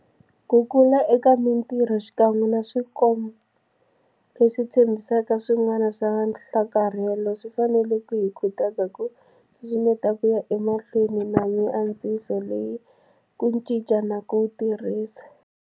Ku kula eka mitirho, xikan'we na swikombo leswi tshembisaka swin'wana swa nhlakarhelo, swi fanele ku hi khutaza ku susumeta ku ya emahlweni na miantswiso leyi ku cinca na ku tirhisa.